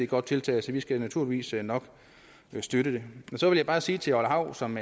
godt tiltag så vi skal naturligvis nok støtte det men så vil jeg bare sige til orla hav som